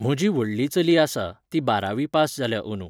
म्हजी व्हडली चली आसा, ती बारावी पास जाल्या अंदू.